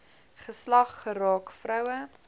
geslag geraak vroue